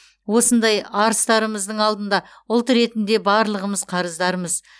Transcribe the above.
осындай арыстарымыздың алдында ұлт ретінде барлығымыз қарыздармыз